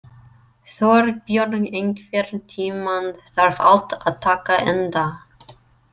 Þorbjörn, einhvern tímann þarf allt að taka enda.